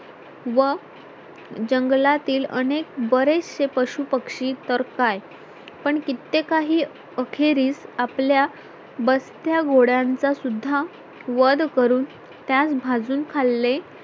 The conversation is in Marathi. व जंगलातील अनेक बरेचसे पशुपक्षी तर काय पण किते काही अखेरीस आपल्या बस्त्या घोडयांचा सुद्धा वध करून त्यात भाजून खाल्ले